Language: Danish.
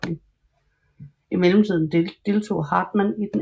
I mellemtiden deltog Hartmann i den 2